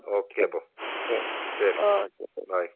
Okay അപ്പോ. ശരി. By.